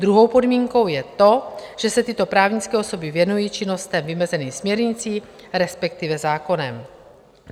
Druhou podmínkou je to, že se tyto právnické osoby věnují činnostem vymezeným směrnicí, respektive zákonem.